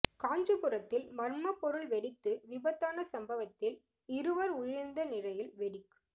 காஞ்சிபுரத்தில் மர்மப்பொருள் வெடித்து விபத்தான சம்பவத்தில் இருவர் உயிரிழந்த நிலையில் வெடிக்